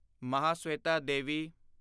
Mahasweta Devi